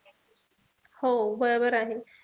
हो बरोबर आहे.